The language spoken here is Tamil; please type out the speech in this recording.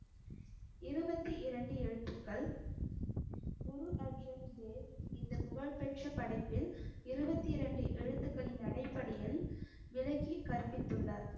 இருபத்தி இரண்டு எழுத்துக்கள் குரு அர்ஜன் தேவ் இந்த புகழ்பெற்ற படைப்பில் இருபத்தி இரண்டு எழுத்துக்களின் அடிப்படையில் விளக்கி கற்பித்துள்ளார்